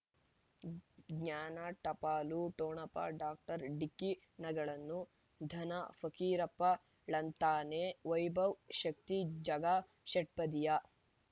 ಜ್ಞಾನ ಟಪಾಲು ಠೊಣಪ ಡಾಕ್ಟರ್ ಢಿಕ್ಕಿ ಣಗಳನು ಧನ ಫಕೀರಪ್ಪ ಳಂತಾನೆ ವೈಭವ್ ಶಕ್ತಿ ಝಗಾ ಷಟ್ಪದಿಯ